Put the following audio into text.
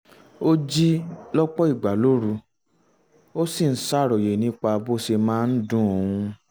ó jí lọ́pọ̀ ìgbà lóru ó um sì ń ṣàròyé nípa bó ṣe máa ń dun òun